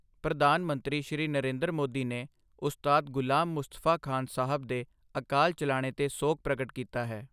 ਪ੍ਰਧਾਨ ਮੰਤਰੀ, ਸ਼੍ਰੀ ਨਰਿੰਦਰ ਮੋਦੀ ਨੇ ਉਸਤਾਦ ਗ਼ੁਲਾਮ ਮੁਸਤਫਾ ਖਾਨ ਸਾਹਬ ਦੇ ਅਕਾਲ ਚਲਾਣੇ ਤੇ ਸੋਗ ਪ੍ਰਗਟ ਕੀਤਾ ਹੈ।